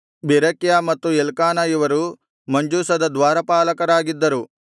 Berechiah ಮತ್ತು Elkanah ಇವರು ಮಂಜೂಷದ ದ್ವಾರಪಾಲಕರಾಗಿದ್ದರು